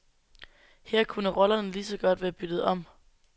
Her kunne rollerne lige så godt være byttet om.